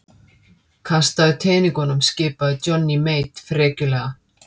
Kastaðu teningunum skipaði Johnny Mate frekjulega.